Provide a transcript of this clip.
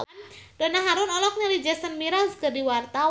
Donna Harun olohok ningali Jason Mraz keur diwawancara